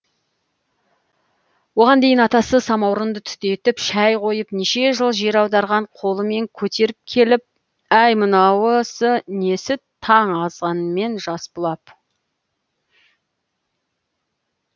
оған дейін атасы самаурынды түтетіп шәй қойып неше жыл жер аударған қолымен көтеріп келіп әй мынаусы несі таң азанымен жас бұлап